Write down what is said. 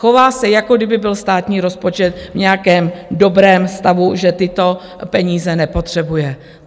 Chová se, jako kdyby byl státní rozpočet v nějakém dobrém stavu, že tyto peníze nepotřebuje.